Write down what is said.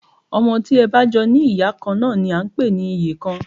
Ọmọ tí ẹ bá jọ ní ìyá kan náà ni à ń pè ní ìyekan